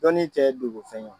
Dɔɔnin tɛ dogo fɛn ye!